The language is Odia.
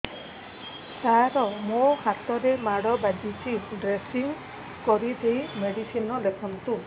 ସାର ମୋ ହାତରେ ମାଡ଼ ବାଜିଛି ଡ୍ରେସିଂ କରିଦେଇ ମେଡିସିନ ଲେଖନ୍ତୁ